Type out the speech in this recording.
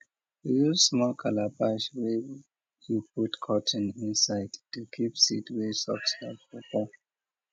use small calabash wey you put cotton inside to keep seed wey soft like pawpaw